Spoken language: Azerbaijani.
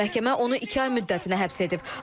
Məhkəmə onu iki ay müddətinə həbs edib.